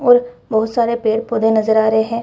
और बहुत सारे पेड़-पौधे नजर आ रहे हैं।